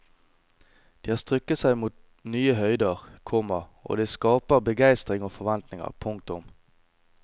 De har strukket seg mot nye høyder, komma og det skaper begeistring og forventninger. punktum